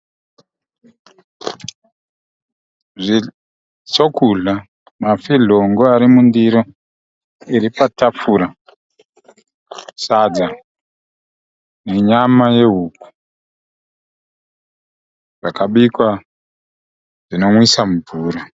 Chokudya, mafidyongo ari mundiro iri patafura, sadza nenyama yehuku yakabikwa zvinomwisa mvura.